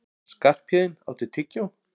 Skarphéðinn, áttu tyggjó?